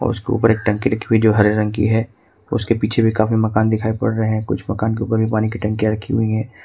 उसके ऊपर एक टंकी रखी हुई जो हरे रंग की है उसके पीछे भी काफी मकान दिखाई पड़ रहे हैं कुछ मकान के ऊपर भी पानी की टंकी रखी हुई है।